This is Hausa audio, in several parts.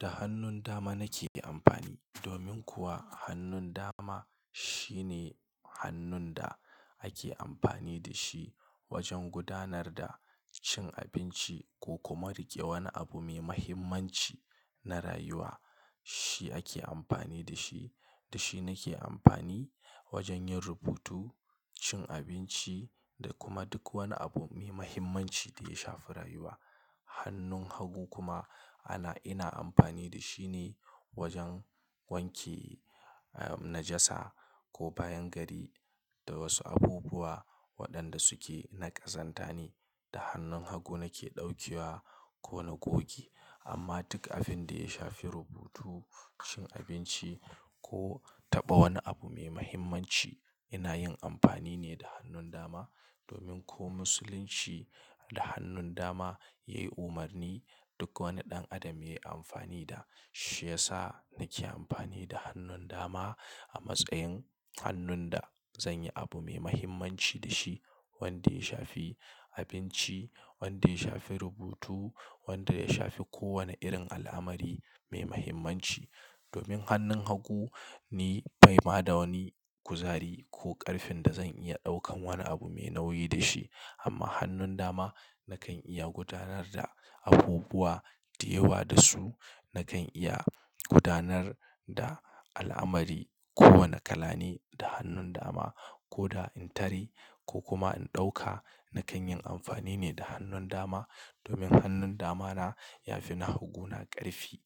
Da hannun dama nake amfani domin kuwa hannun dama shine hannun da ake amfani da shi wajen gudanar da cin abinci ko kuma riƙe wani abu mai mahimmanci na rayuwa. Shi ake amfani da shi, da shi nake amfani wajen yin rubutu, cin abinci da kuma duk wani abu mai mahimmanci da ya shafi rayuwa. Hannun hagu kuma ana-- ina amfani da shi ne wajen wanke, ah, najasa ko bayan gari da wasu abubuwa waɗanda suke na ƙazanta ne. Da hannun hagu nake ɗaukiwa ko na goge. Amma duk abin da ya shafi rubutu, cin abinci ko taɓa wani abu mai mahimmanci ina yin amfani ne da hannun dama domin ko musulunci da hannun dama yayi umarni duk wani ɗan adam yayi amfani da. Shi ya sa nake amfani da hannun dama a matsayin hannun da zanyi abu mai mahimmanci da shi wanda ya shafi abinci, wanda ya shafi rubutu, wanda ya shafi kowane irin al'amari mai mahimmanci. Domin hannun hagu ni baimi da wani kuzari ko ƙarfin da zan iya ɗaukan wani abu mai nauyi da shi. Amma hannun dama nakan iya gudanar da abubuwa da yawa da su. Nakan iya gudanar da al'amari ko wane kalani da hannun dama ko da in tare ko kuma in ɗauka nakan yin amfani ne da hannun dama domin hannun dama na ya fi na hagu na ƙarfi.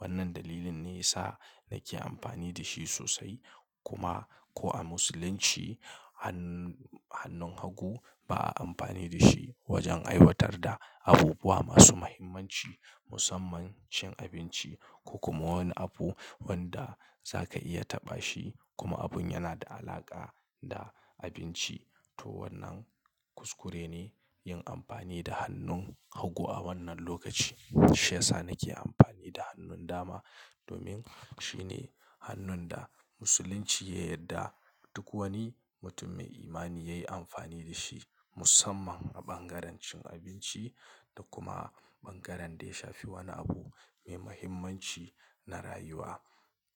Wannan dalilin ne ya sa nake amfani da shi sosai. Kuma ko a musulunci hann-hannun hagu ba a amfani da shi wajen aiwatar da abubuwa masu mahimmanci musamman cin abinci ko kuma wani abu wanda zaka iya taɓa shi kuma abun yana da alaƙa da abinci. To wannan kuskure ne yin amfani da hannun hagu a wannan lokaci. Shi ya sa nake amfani da hannun dama domin shine hannun da musulunci ya yarda duk wani mutum mai imani yayi amfani da shi musamman a bangaren cin abinci da kuma bangaren da ya shafi wani abu mai mahimmanci na rayuwa.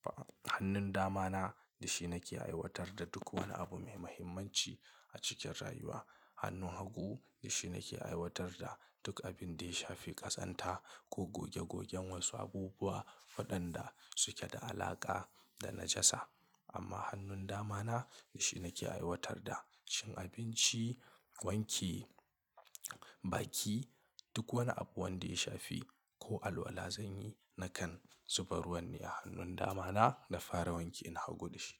Ba-- hannun dama na da shi nake aiwatar da duk wani abu mai mahimmanci a cikin rayuwa. Hannun hagu da shi nake aiwatar da duk abin da ya shafi ƙazanta ko goge gogen wasu abubuwa waɗanda suke da alaƙa da najasa. Amma hannun dama na da shi nake aiwatar da cin abinci, wanke baki, duk wani abu wanda ya shafi ko alwala zanyi nakan zubarar wani a hannun dama na da fara wanke ina hago da shi.